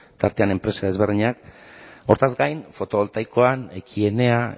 tartean enpresa desberdinak horretaz gain fotovoltaikoan ekienea